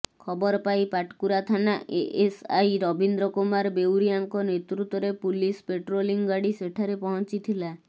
ଖବରପାଇ ପାଟକୁରା ଥାନା ଏଏସଆଇ ରବୀନ୍ଦ୍ର କୁମାର ବେଉରିଆଙ୍କ ନେତୃତ୍ବରେ ପୁଲିସ ପେଟ୍ରୋଲିଂ ଗାଡ଼ି ସେଠାରେ ପହଞ୍ଚିଥିଲା